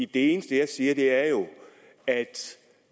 det eneste jeg siger er jo at